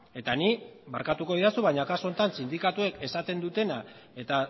eta nik barkatuko didazu baina kasu honetan sindikatuek esaten dutena eta